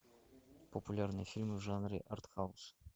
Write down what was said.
популярные фильмы в жанре артхаус